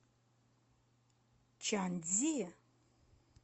чанцзи